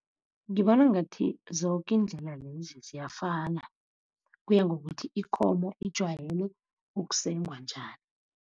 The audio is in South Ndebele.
Ngibona ngathi zoke iindlela lezi ziyafana kuya ngokuthi ikomo ijwayele ukusengwa njani.